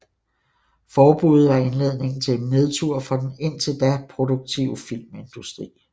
Forbuddet var indledningen til en nedtur for den indtil da produktive filmindustri